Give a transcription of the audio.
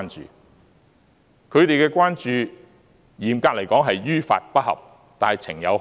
至於他們的關注，嚴格來說是於法不合，但情有可原。